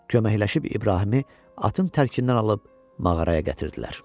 Köməkləşib İbrahimi atın tərkindən alıb mağaraya gətirdilər.